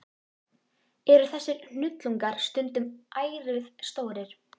Eru þessir hnullungar stundum ærið stórir.